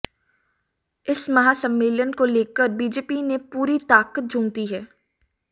इस महासम्मेलन को लेकर बीजेपी ने पूरी ताकत झोंक दी है